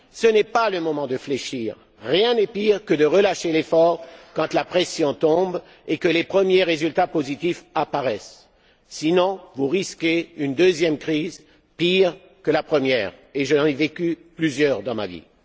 Ce n'est pas le moment de fléchir rien n'est pire que de relâcher l'effort quand la pression tombe et que les premiers résultats positifs apparaissent sinon, vous risquez une deuxième crise, pire que la première, et j'en ai vécu plusieurs dans ma vie.